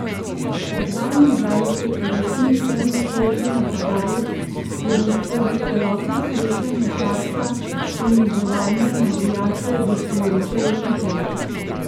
Dvaindvajsetletni temnopolti napadalec je bil skozi celotno srečanje tarča poniževanja navijačev gostujoče ekipe.